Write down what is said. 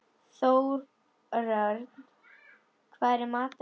Þórörn, hvað er í matinn?